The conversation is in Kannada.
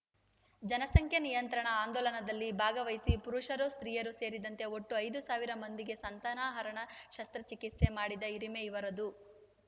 ಜನಸಂಖ್ಯಾ ನಿಯಂತ್ರಣ ಆಂದೋಲನದಲ್ಲಿ ಭಾಗವಹಿಸಿ ಪುರುಷರುಸ್ತ್ರೀಯರು ಸೇರಿದಂತೆ ಒಟ್ಟು ಐದು ಸಾವಿರ ಮಂದಿಗೆ ಸಂತಾನಹರಣ ಶಸ್ತ್ರಚಿಕಿತ್ಸೆ ಮಾಡಿದ ಹಿರಿಮೆ ಇವರದು